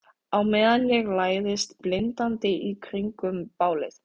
Á meðan ég læðist blindandi í kringum bálið.